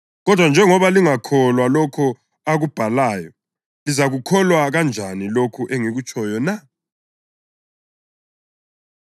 Kodwa njengoba lingakukholwa lokho akubhalayo, lizakukholwa kanjani lokho engikutshoyo na?”